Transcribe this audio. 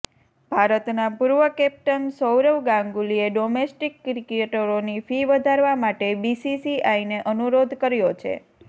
ભારતના પૂર્વ કેપ્ટન સૌરવ ગાંગુલીએ ડોમેસ્ટિક ક્રિકેટરોની ફી વધારવા માટે બીસીસીઆઈને અનુરોધ કર્યો છે